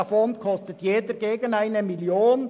Jeder dieser Mähdrescher kostet gegen 1 Mio. Franken.